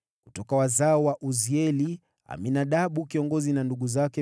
Kutoka wazao wa Uzieli, Aminadabu kiongozi na ndugu zake 112.